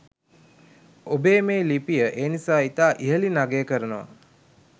ඔබේ මේ ලිපිය ඒ නිසා ඉතා ඉහලින් අගය කරනවා